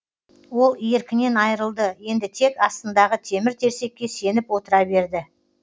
ол еркінен айырылды енді тек астындағы темір терсекке сеніп отыра берді